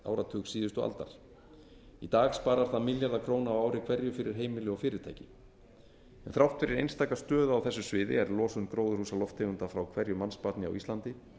áratug síðustu aldar í dag sparar það milljarða króna á ári hverju fyrir heimili og fyrirtæki en þrátt fyrir einstaka stöðu á þessu sviði er losun gróðurhúsalofttegunda frá hverju mannsbarni á íslandi